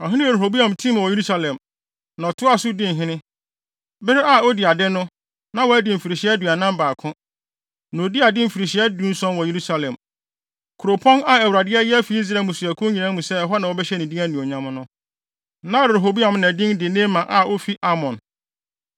Ɔhene Rehoboam timii wɔ Yerusalem, na ɔtoaa so dii hene. Bere a odii ade no, na wadi mfirihyia aduanan baako. Na odii ade mfirihyia dunson wɔ Yerusalem, kuropɔn a Awurade ayi afi Israel mmusuakuw nyinaa mu sɛ ɛhɔ na wɔbɛhyɛ ne din anuonyam no. Na Rehoboam na din de Naama a ofi Amon.